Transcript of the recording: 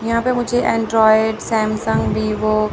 यहां पे मुझे एंड्रॉयड सैमसंग वीवो --